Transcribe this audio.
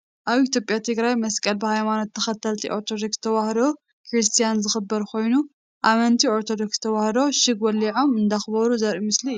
ኣብ ኢትዮጵያ ትግራይ መስቀል ብሃይማኖት ተከተልቲ ኦርቶዶክስ ተዋህዶ ክርስትያን ዝክበር ኮይኑ ኣመንቲ ኦርቶዶክስ ተዋህዶ ሽግ ወሊዖም እንዳክበሩ ዘርኢ ምስሊ እዩ ።